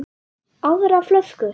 Aðra flösku?